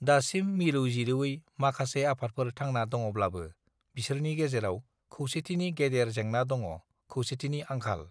दासिम मिरौ जिरौयै माखासे आफादफोर थांना दङब्लाबो बिसोरनि गेजेराव खौसेथिनि गेदेर जेंना दङ खौसेथिनि आंखाल